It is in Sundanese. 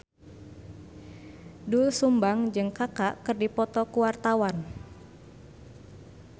Doel Sumbang jeung Kaka keur dipoto ku wartawan